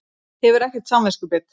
Hefur ekkert samviskubit.